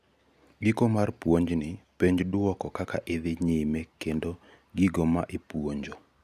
giko mar puonjni penj duoko kaka idhi nyime kendo gigo ma ipuonjo